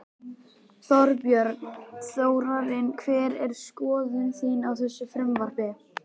Þorbjörn: Þórarinn hver er skoðun þín á þessu frumvarpi?